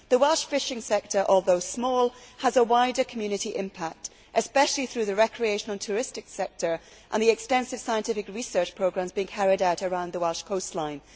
The Welsh fishing sector, although small, has a wider community impact, especially through the recreational and tourist sector and the extensive scientific research programmes being carried out around the Welsh coastline.